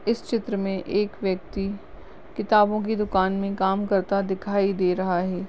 इस चित्र में एक व्यक्ति किताबों की दुकान में काम करता दिखाई रहा है।